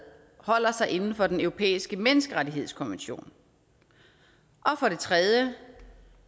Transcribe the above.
holder sig inden for den europæiske menneskerettighedskonvention og for det tredje